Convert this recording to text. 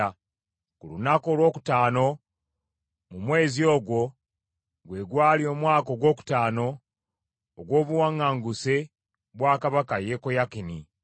Ku lunaku olwokutaano mu mwezi ogwo, gwe gwali omwaka ogwokutaano ogw’obuwaŋŋanguse bwa kabaka Yekoyakini,